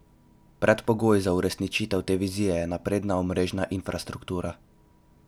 Predpogoj za uresničitev te vizije je napredna omrežna infrastruktura.